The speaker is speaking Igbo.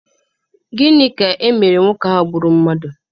Gịnị ka emere nwoke ahụ gbụrụ mmadụ?